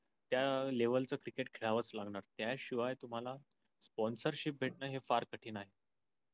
त्या लेवेलच क्रिकेट खेळावंच लागणार त्या शिवाय तुम्हाला sponcership भेटना फार कठीण आहे.